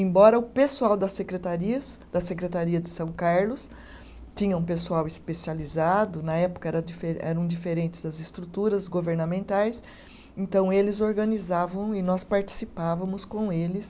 Embora o pessoal das secretarias, da Secretaria de São Carlos, tinha um pessoal especializado, na época era difere, eram diferentes das estruturas governamentais, então eles organizavam e nós participávamos com eles